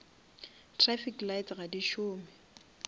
trafic lights ga di šome